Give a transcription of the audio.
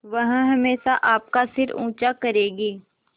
वह हमेशा आपका सिर ऊँचा करेगी